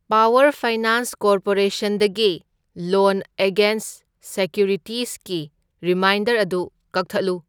Power finance ꯀꯣꯔꯄꯣꯔꯦꯁꯟꯗꯒꯤ loan against ꯁꯤꯀ꯭ꯌꯨꯔꯤꯇꯤꯁꯀꯤ reminder ꯑꯗꯨ ꯀꯛꯊꯠꯂꯨ꯫